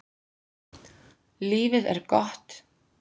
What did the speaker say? Lífið er gott.